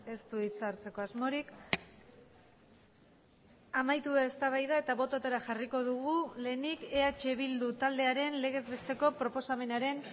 ez du hitza hartzeko asmorik amaitu da eztabaida eta bototara jarriko dugu lehenik eh bildu taldearen legez besteko proposamenaren